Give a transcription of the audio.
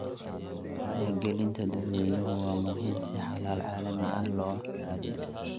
Wacyigelinta dadweynaha waa muhiim si xalal caalami ah loo raadiyo.